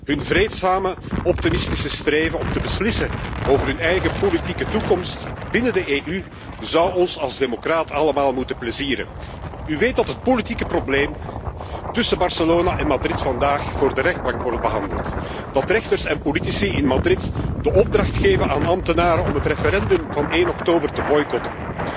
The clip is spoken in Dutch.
Hun vreedzame optimistische streven om te beslissen over hun eigen politieke toekomst binnen de EU zou ons als democraat allemaal moeten plezieren. U weet dat het politieke probleem tussen Barcelona en Madrid vandaag voor de rechtbank wordt behandeld, dat rechters en politici in Madrid de opdracht geven aan ambtenaren om het referendum van 1 oktober te boycotten.